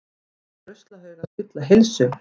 Telja ruslahauga spilla heilsu